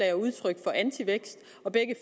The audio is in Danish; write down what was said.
er udtryk for antivækst